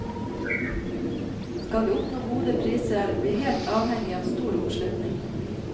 Skal vi oppnå gode priser, er vi helt avhengig av stor oppslutning.